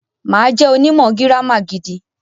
Mà á jẹ́ onímọ̀ gírámà gidi.